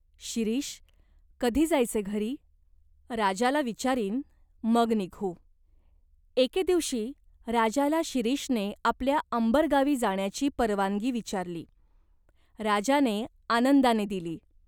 शिरीष, कधी जायचे घरी ?" "राजाला विचारीन, मग निघू" एके दिवशी राजाला शिरीषने आपल्या अंबर गावी जाण्याची परवानगी विचारली. राजाने आनंदाने दिली.